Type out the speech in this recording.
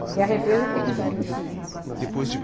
Porque a represa fica em chique-chique.